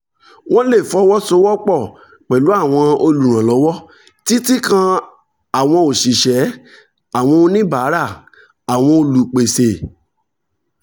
wọ́n lè fọwọ́ sowọ́ pọ̀ pẹ̀lú àwọn olùrànlọ́wọ́ títí kan àwọn òṣìṣẹ́ àwọn oníbàárà àwọn olùpèsè